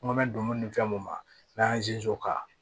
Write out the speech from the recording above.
N ko mɛ don ni fɛn mun ma n'a y'a k'a